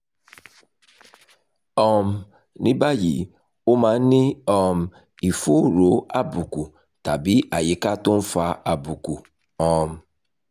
um ní báyìí o máa ń ní um ìfòòró àbùkù tàbí àyíká tó ń fa àbùkù um